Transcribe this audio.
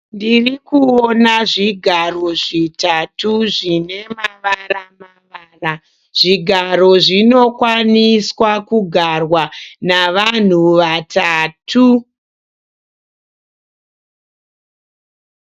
Ndiri kuona zvigaro zvitatu zvine mavaramavara. Zvigaro zvinokwaniswa kugarwa navanhu vatatu.